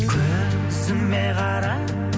көзіме қара